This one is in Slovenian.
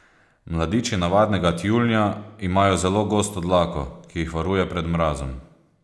Mladiči navadnega tjulnja imajo zelo gosto dlako, ki jih varuje pred mrazom.